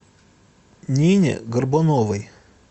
нине горбуновой